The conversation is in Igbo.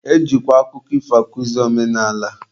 E jikwa akụkọ ifo akuzi omenala.